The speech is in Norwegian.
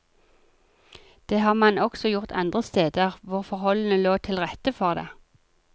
Det har man også gjort andre steder hvor forholdene lå til rette for det.